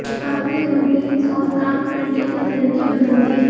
अपने रुटीन्स और काम करने के तरीके बदल दिए